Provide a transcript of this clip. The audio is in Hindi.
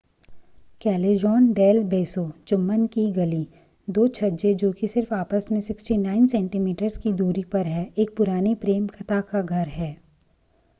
callejon del beso चुंबन की गली। दो छज्जे जो कि सिर्फ आपस में 69 सेन्टीमीटर्स की दूरी पर हैं एक पुरानी प्रेम कथा का घर हैं।